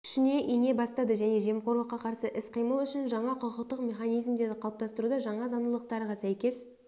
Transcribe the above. күшіне ене бастады және жемқорлыққа қарсы іс-қимыл үшін жаңа құқықтық механизмдерді қалыптастыруда жаңа заңдылықтарға сәйкес